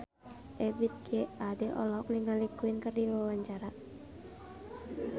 Ebith G. Ade olohok ningali Queen keur diwawancara